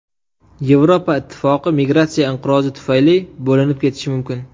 Yevropa ittifoqi migratsiya inqirozi tufayli bo‘linib ketishi mumkin.